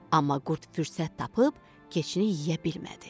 Amma qurd fürsət tapıb keçini yeyə bilmədi.